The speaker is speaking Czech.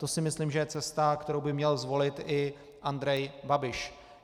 To si myslím, že je cesta, kterou by měl zvolit i Andrej Babiš.